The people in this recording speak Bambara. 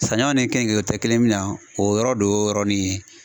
Sanɲɔ ni keninge tɛ kelen ye min na o yɔrɔ de y'o yɔrɔnin ye.